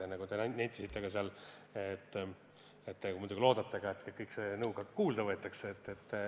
Aga nagu te nentisite ka, te muidugi loodate, et teie nõu ikka kuulda võetakse.